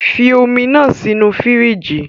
Fi omi naa sinu firiji.